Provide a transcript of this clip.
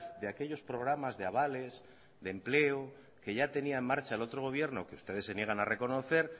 de aquellos programas de avales de empleo que ya tenía en marcha el otro gobierno que ustedes se niegan a reconocer